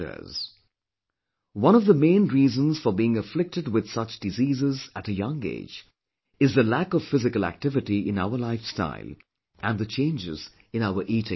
' One of the main reasons for being afflicted with such diseases at a young age is the lack of physical activity in our lifestyle and the changes in our eating habits